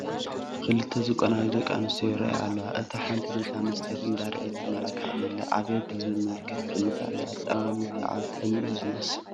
ክልተ ዝቆነጃጀዋ ደቂ ኣንስትዮ ይርአያ ኣለዋ፡፡ እታ ሓንቲ ነታ መስትያት እንዳርኣየት ትመላካዕ ዘላ ኣብየትየ ብዝብል መልክዕ ትጥምታ ኣለ፡፡ ኣጠማምትኣ ቅንኢ እዩ ዝመስል፡፡